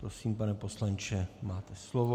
Prosím, pane poslanče, máte slovo.